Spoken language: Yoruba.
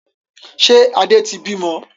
Ṣé Adé tí bí mọ?